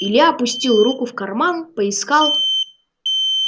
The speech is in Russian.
илья опустил руку в карман поискал